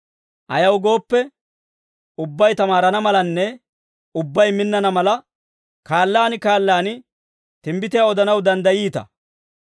Ayaw gooppe, ubbay tamaarana malanne ubbay minnana mala, kaallaan kaallaan timbbitiyaa odanaw danddayiita.